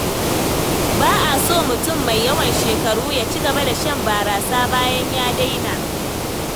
Ba a so mutum mai yawan shekaru ya ci gaba da shan barasa bayan ya daina.